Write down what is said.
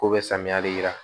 K'u bɛ samiyali yira